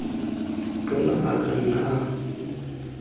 tona a ka nna a